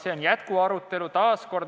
See on jätkuarutelu.